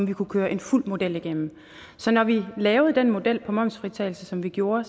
vi kunne køre en fuld model igennem så når vi lavede den model for momsfritagelse som vi gjorde